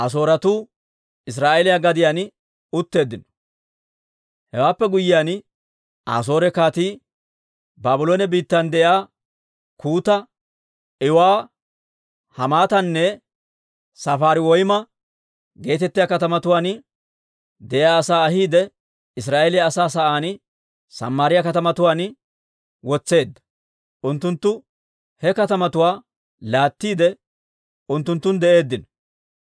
Hewaappe guyyiyaan, Asoore kaatii Baabloone biittan de'iyaa Kuuta, Iiwa, Hamaatanne Safariwayma geetettiyaa katamatuwaan de'iyaa asaa ahiide Israa'eeliyaa asaa sa'aan Samaariyaa katamatuwaan wotseedda. Unttunttu he katamatuwaa laattiide, unttunttun de'eeddino.